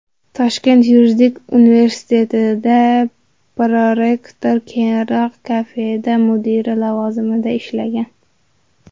Toshkent yuridik universitetida prorektor, keyinroq kafedra mudiri lavozimlarida ishlagan.